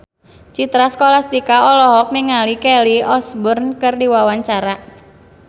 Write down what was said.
Citra Scholastika olohok ningali Kelly Osbourne keur diwawancara